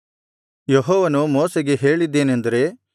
ಯೆಹೋವನು ಮೋಶೆಗೆ ಹೇಳಿದ್ದೇನೆಂದರೆ